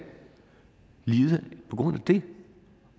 lide på grund af det